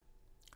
DR2